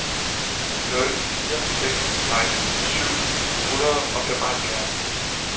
ni nul fire seks seksten syv hundrede og femoghalvfjerds